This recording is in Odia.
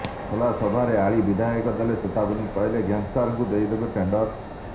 ଖୋଲା ସଭାରେ ଆଳି ବିଧାୟକ ଦେଲେ ଚେତାବନୀ କହିଲେ ଗ୍ୟାଙ୍ଗଷ୍ଟରଙ୍କୁ ଦେଇଦେବେ ଟେଣ୍ଡର